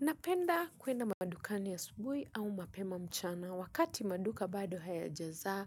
Napenda kuenda madukani asubui au mapema mchana wakati maduka bado haya jaza